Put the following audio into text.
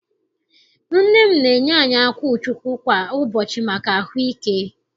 Nne m na-enye anyị akwụchukwu kwa ụbọchị maka ahụike.